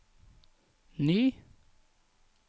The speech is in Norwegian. ny